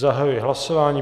Zahajuji hlasování.